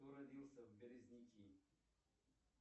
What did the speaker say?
кто родился в березники